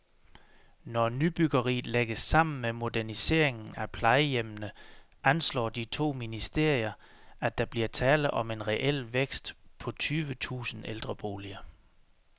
Når nybyggeriet lægges sammen med moderniseringen af plejehjemmene, anslår de to ministerier, at der bliver tale om en reel vækst på tyve tusind ældreboliger.